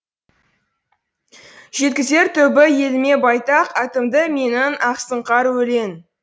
жеткізер түбі еліме байтақ атымды менің ақсұңқар өлең